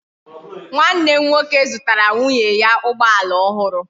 Nwa nne m nwoke zutara nwunye ya ugboala ohuru